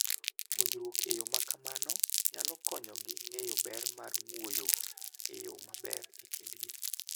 Puonjruok e yo ma kamano nyalo konyogi ng'eyo ber mar wuoyo e yo maber e kindgi.